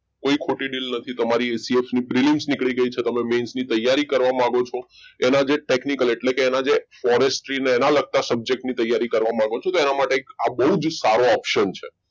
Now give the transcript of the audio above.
કોઈ ખોટી deal નથી તમારી prelims નીકળી ગઈ છે main ની તૈયારી કરવા માંગો છો એના જે technical એટલે કે forest થી એના લગતા subject માં તૈયારી કરવા માંગો છો તેના માટે તો આ બહુ જ સારો option છે